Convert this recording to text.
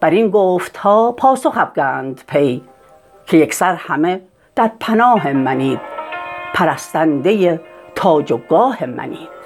برین گفتها پاسخ افگند پی که یکسر همه در پناه منید پرستنده تاج و گاه منید